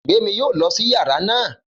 Gbémi yóò lọ sí yàrá náà